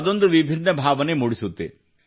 ಅದೊಂದು ವಿಭಿನ್ನ ಭಾವನೆ ಮೂಡಿಸುತ್ತದೆ